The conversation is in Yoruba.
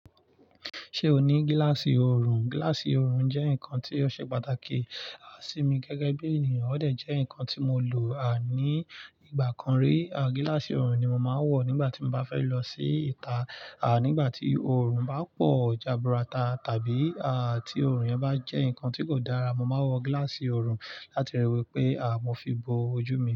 Ṣé o ní gíláàsì oorun? Gíláàsì oorun jẹ́ nǹkan tí ó ṣe pàtàkì sí mi gẹ́gẹ́ bí ènìyàn, ó de jẹ́ nǹkan tí mo lò a ní ìgbà kan rí. Gíláàsì oorun ni mo máa ń wọ̀ nígbà tí mo bá fẹ́ lọ sí ìta, a nígbà tí oorun bá pọ̀, jaburata tàbí tí oorun yẹn bá jẹ́ nǹkan tí kò dára. Mo máa wọ gíláàsì oorun láti riwẹ̀ pé mo fi bo ojú mi.